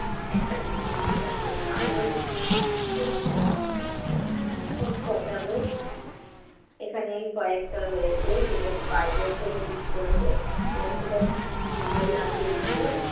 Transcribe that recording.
একটা দিনতো success পাবোই। এখানে কয়েকটা রয়েছে যেটা spidergel use করেছে এবং সেটা খুবই সুন্দর লাগছে দেখতে।